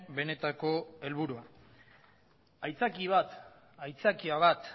benetako helburua aitzakia bat